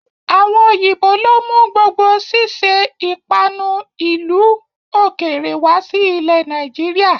Àwọn òyìnbó lo mú gbogbo sise ìpanu ìlú ó kéré wá sí ilẹ̀ Nàìjíríà.